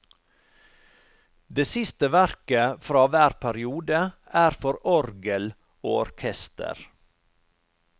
Det siste verket fra hver periode er for orgel og orkester.